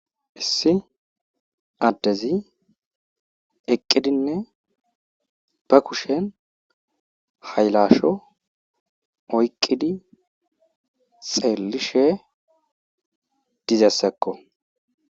issi addezi eqqidinne ba kushen haylasho oyqqidi xeellishe dizassakko